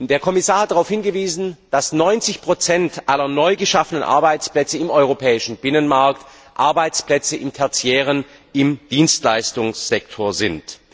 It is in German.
Der Kommissar hat darauf hingewiesen, dass 90 aller neu geschaffenen Arbeitsplätze im europäischen Binnenmarkt Arbeitsplätze im tertiären, im Dienstleistungssektor sind.